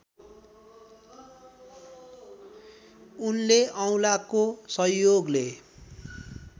उनले औलाको सहयोगले